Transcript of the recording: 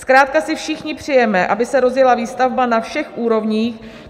Zkrátka si všichni přejeme, aby se rozjela výstavba na všech úrovních.